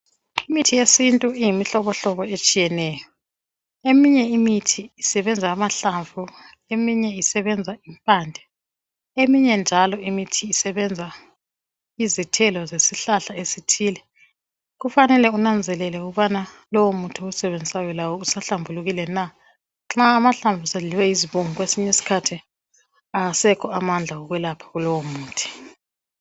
Imithi yesintu iyimihlobohlobo etshiyeneyo. Eminye imithi isebenza amahlamvu eminye isebenza benza impande. Eminye njalo imithi isebenza izithelo zesihlahla esithile. Kufanele kunanzelelwe ukuthi lowomuntu owusebenzisayo laye uhlambulukile na? Nxa amahlamvu esedliwe yizibungu kwesinye isikhathi awasekho amandla okwelapha kulowo muthi.